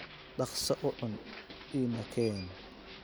Dhaqso u cun, ina keen.